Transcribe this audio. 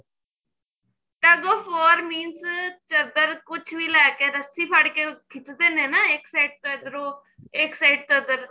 tuk of for means ਚਦਰ ਕੁੱਝ ਵੀ ਲੈ ਕੇ ਰਸੀ ਫੜ ਕੇ ਕਿਚਦੇ ਨੇ ਨਾ ਇੱਕ side ਤੋਂ ਇੱਧਰੋ ਇੱਕ side ਤੋਂ ਉੱਧਰ